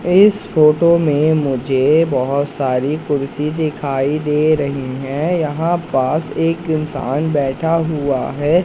इस फोटो में मुझे बहोत सारी कुर्सी दिखाई दे रही हैं यहां पास एक इंसान बैठा हुआ है।